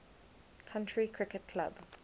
county cricket club